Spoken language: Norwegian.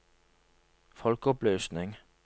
folkeopplysning